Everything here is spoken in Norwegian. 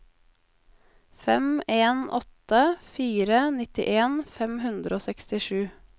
fem en åtte fire nittien fem hundre og sekstisju